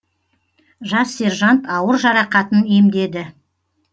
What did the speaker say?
жас сержант ауыр жарақатын емдеді